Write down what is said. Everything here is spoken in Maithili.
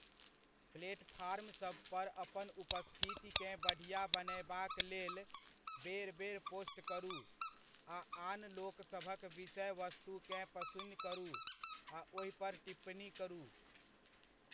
प्लेटफार्मसभपर अपन उपस्थितिकेँ बढ़िआँ बनयबाक लेल बेर बेर पोस्ट करू आ आन लोकसभक विषय वस्तुकेँ पसिन करू आ ओहिपर टिप्पणी करू।